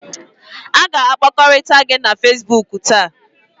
A ga-akpakọrịta gị na Facebook taa